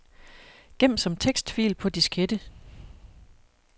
Gem som tekstfil på diskette.